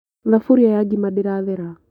Thaburia ya ngima ndĩrathera